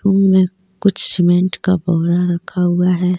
उनमे कुछ सीमेंट का बोरा रखा हुआ हे.